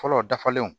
Fɔlɔ dafalenw